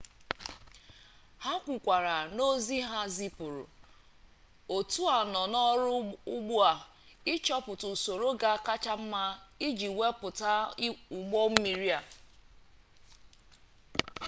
ha kwukwara n'ozi ha zipuru otu a nọ n'ọrụ ugbu a ịchọpụta usoro ga-akachasị mma iji wepụta ụgbọ mmiri a